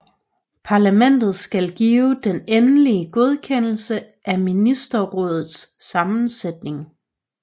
Parlamentet skal give den endelige godkendelse af ministerrådets sammensætning